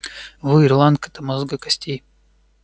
вы ирландка до мозга костей